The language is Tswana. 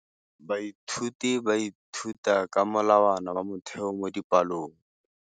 Baithuti ba ithuta ka molawana wa motheo mo dipalong.